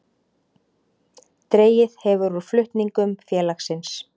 Dregið hefur úr flutningum félagsins